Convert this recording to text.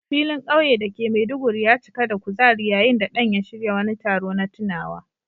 Filin kauye da ke Maiduguri ya cika da kuzari yayin da Dan ya shirya wani taro na tunawa.